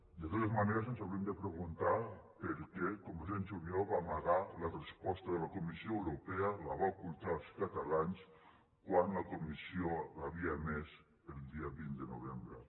de totes maneres ens hauríem de preguntar per què convergència i unió va amagar la resposta de la comissió europea la va ocultar als catalans quan la comissió l’havia emès el dia vint de novembre